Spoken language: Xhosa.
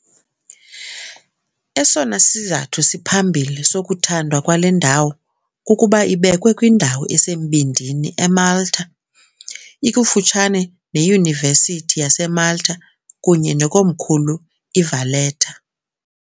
Esona sizathu siphambili sokuthandwa kwale ndawo kukuba ibekwe kwindawo esembindini eMalta, ikufutshane neYunivesithi yaseMalta kunye nekomkhulu iValletta .